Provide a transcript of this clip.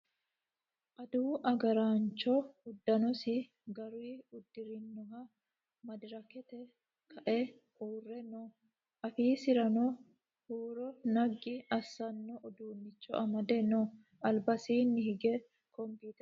Adawu agaraancho uddanosi garuyi uddirinohu madirakete kae uurre no. Afiisirano huuro naggi assano uduunnicho amade no. Albasiinni higge computer no.